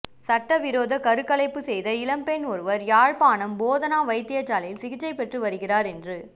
சட்டவிரோத கருக்கலைப்பு செய்த இளம் பெண் ஒருவர் யாழ்ப்பாணம் போதனா வைத்தியசாலையில் சிகிச்சை பெற்று வருகிறார் என்று